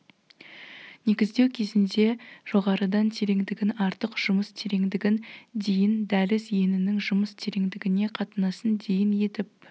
негіздеу кезінде жоғарыдан тереңдігін артық жұмыс тереңдігін дейін дәліз енінің жұмыс тереңдігіне қатынасын дейін етіп